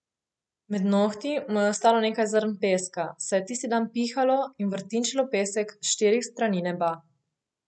Med nohti mu je ostalo nekaj zrn peska, saj je tisti dan pihalo in vrtinčilo pesek s štirih strani neba.